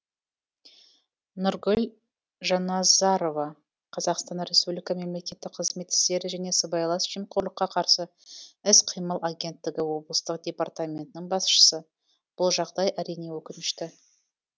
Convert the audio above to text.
нұргүл жанназарова қазақстан республикасы мемлекеттік қызмет істері және сыбайлас жемқорлыққа қарсы іс қимыл агенттігі облыстық департаментінің басшысы бұл жағдай әрине өкінішті